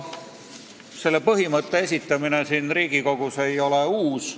Selle põhimõtte esitamine siin Riigikogus ei ole uus.